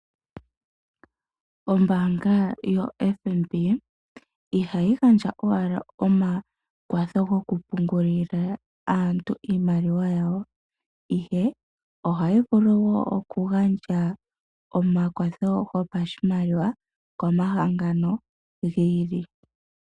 Ombaanga yo FNB ihayi gandja owala omakwatho goku pungulila aantu iimaliwa yawo, ihe ohayi vulu wo oku gandja omakwatho go pashimaliwa ko mahangano gi ili.